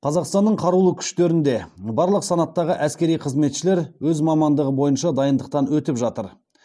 қазақстанның қарулы күштерінде барлық санаттағы әскери қызметшілер өз мамандығы бойынша дайындықтан өтіп жатыр